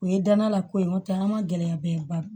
O ye danna la ko ye n'o tɛ an ma gɛlɛyaba ye ba